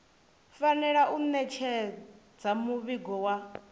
fanela u ṋetshedza muvhigo wa